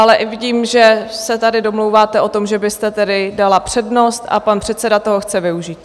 Ale vidím, že se tady domlouváte o tom, že byste tedy dala přednost, a pan předseda toho chce využít.